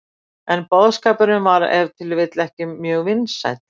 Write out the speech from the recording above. En boðskapurinn var ef til vill ekki mjög vinsæll.